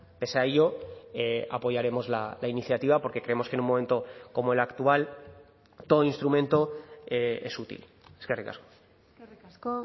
pese a ello apoyaremos la iniciativa porque creemos que en un momento como el actual todo instrumento es útil eskerrik asko eskerrik asko